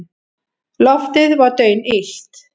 Loftið var daunillt.